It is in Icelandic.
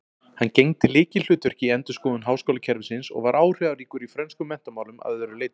Hann gegndi lykilhlutverki í endurskoðun háskólakerfisins og var áhrifaríkur í frönskum menntamálum að öðru leyti.